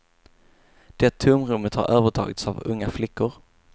Det tomrummet har övertagits av unga flickor.